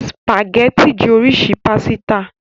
Spàgẹ́ti jẹ́ oríṣi pásítà.